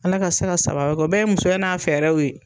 Ala ka se ka sababa bɔ o bɛɛ ye musoya n'a fɛɛrɛw ye.